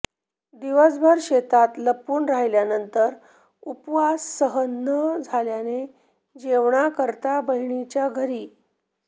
दिवसभर शेतात लपून राहिल्यानंतर उपवास सहन न झाल्याने जेवणाकरिता बहिणीच्या घरी